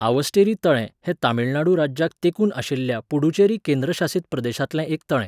आवस्टेरी तळें हें तमिळनाडू राज्याक तेंकून आशिल्या पुडुचेरी केंद्रशासीत प्रदेशांतलें एक तळें.